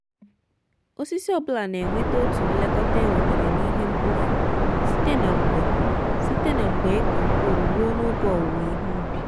osisi ọ bụla na-enweta otu nlekọta ewetere n’ihe mkpofu site na mgbe site na mgbe iko mkpụrụ ruọ n’oge owụwo ihe ubi.